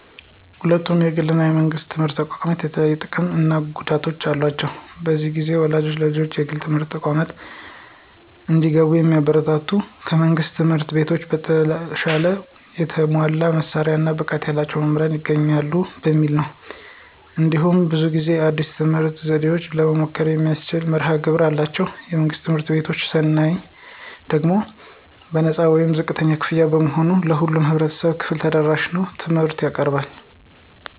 ሁለቱም የግል እና የመንግሥት ትምህርት ተቋማት የተለያዩ ጥቅሞች እና ገደቦች አሏቸው። ብዙ ጊዜ ወላጆች ልጆቻቸው የግል ትምህርት ተቋማት እንዲገቡ የሚያበረታቱት ከመንግሥት ትምህርት ቤቶች በተሻለ የተሟላ መሳሪያዎች እና ብቃት ያላቸው መምህራን ይገኙበታል በሚል ነው። እንዲሁም ብዙ ጊዜ አዲስ የትምህርት ዘዴዎችን ለመሞከር የሚያስችል መርሀ ግብር አላቸው። የመንግሥት ትምህርት ቤቶችን ስናይ ደግሞ በነፃ ወይም ዝቅተኛ ክፍያ በመሆኑ ለሁሉም የህብረተሰብ ክፍል ተደራሽነት ያለው ትምህርት ያቀርባሉ።